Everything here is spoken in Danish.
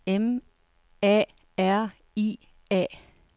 M A R I A